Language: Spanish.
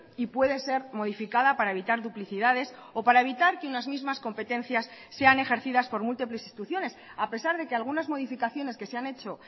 y puede ser modificada para evitar duplicidades o para evitar que unas mismas competencias sean ejercidas por múltiples instituciones a pesar de que algunas modificaciones que se han hecho